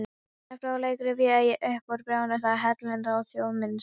Þennan fróðleik rifja ég upp úr bréfum þjóðháttadeildarinnar á Þjóðminjasafninu.